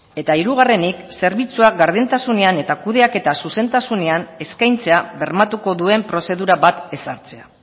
eta hirugarrenik zerbitzuak berdintasunean eta kudeaketa zuzentasunean eskaintzea bermatuko duen prozedura bat ezartzea